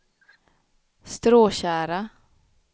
Stråtjära